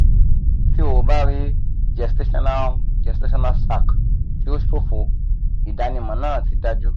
ti o ba rii gestational gestational sac ti o ṣofo idanimọ naa ti daju